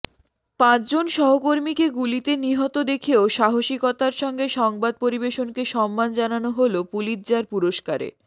পাঁচজন সহকর্মীকে গুলিতে নিহত দেখেও সাহসিকতার সঙ্গে সংবাদ পরিবেশনকে সম্মান জানানো হল পুলিৎজার পুরস্কারে